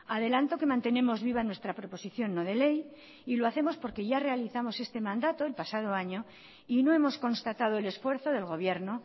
adelanto que mantenemos viva nuestra proposición no de ley lo hacemos porque ya realizamos este mandato el pasado año y no hemos constatado el esfuerzo del gobierno